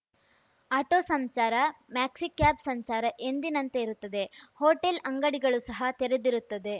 auto ಸಂಚಾರ maxicab ಸಂಚಾರ ಎಂದಿನಂತೆ ಇರುತ್ತದೆ ಹೋಟೆಲ್‌ ಅಂಗಡಿಗಳು ಸಹ ತೆರೆದಿರುತ್ತದೆ